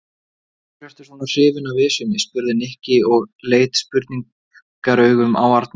Af hverju ertu svona hrifinn af Esjunni? spurði Nikki og leit spurnaraugum á Arnar.